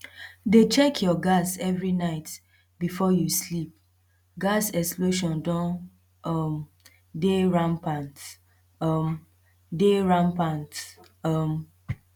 dey check your gas every night before you sleep gas explosion don um dey rampant um dey rampant um